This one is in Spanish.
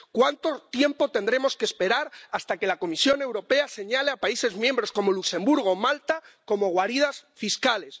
¿Cuánto tiempo tendremos que esperar hasta que la Comisión Europea señale a países miembros como Luxemburgo o Malta como guaridas fiscales?